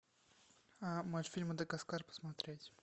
мультфильм мадагаскар посмотреть